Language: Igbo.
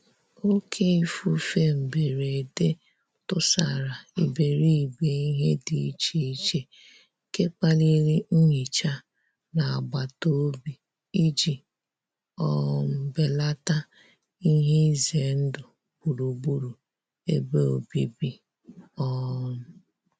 Òkè ífúfé mbérédé túsàrá íbéríbé íhé dí íché íché, nké kpálirí nhíchá ná àgbátá òbí íjí um bélátá íhé ízé ndụ́ gbúrú-gbúrú ébé òbíbí. um